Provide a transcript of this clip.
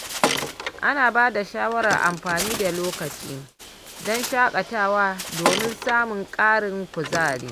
Ana bada shawarar amfani da lokaci don shakatawa domin samun ƙarin kuzari.